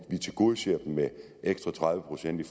tilgodeser dem med ekstra tredive procent i